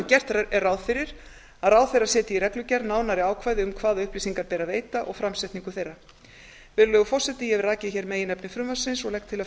gert er ráð fyrir að ráðherra setji í reglugerð nánari ákvæði um hvaða upplýsingar ber að veita og framsetningu þeirra virðulegur forseti ég hef rakið hér meginefni frumvarpsins og legg til að